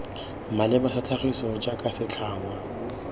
maleba sa tlhagiso jaaka setlhangwa